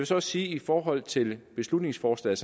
så også sige i forhold til beslutningsforslaget